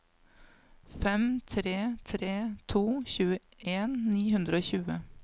fem tre tre to tjueen ni hundre og tjue